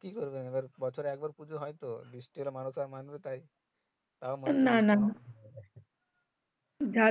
covid হেবে প্যারাথু সুষ্ঠব্যবস্থা না